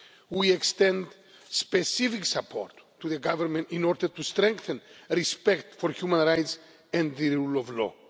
We extend specific support to the Government in order to strengthen respect for human rights and the rule of law.